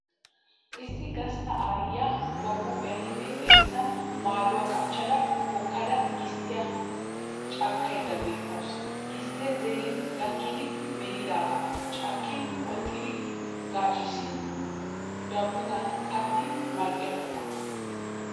Issi gastta aayyiya ba huuphiyaninne xeessan maayuwaa qachchada hokkada gisttiya cakkaydda beettawusu. Gisttee zerin gakkidi melidaagaa cakkin qoxettidi gaaccissin daabbottan kattin mal'iya quma.